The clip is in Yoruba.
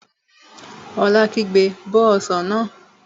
Ola kígbe, Bó ọsàn náà!